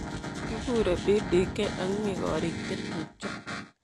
Kikure PDK ak mi korik chetupjo.